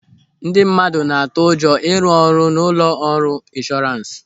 Ndị mmadụ na-atụ ụjọ ịrụ ọrụ n'ụlọ ọrụ inshọrans.